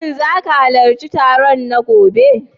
Shin za ka halarci taron na gobe?